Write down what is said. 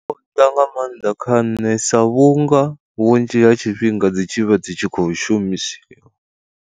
Nga maanḓa kha nṋe sa vhunga vhunzhi ha tshifhinga dzi tshivha dzi tshi khou shumisiwa.